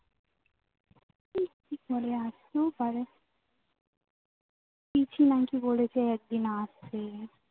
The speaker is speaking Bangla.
আসতেও পারে বলে যে একদিন আসবে